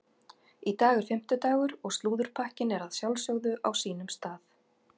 Í dag er fimmtudagur og slúðurpakkinn er að sjálfsögðu á sínum stað.